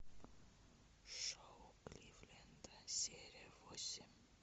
шоу кливленда серия восемь